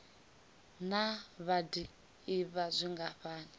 naa vha d ivha zwingafhani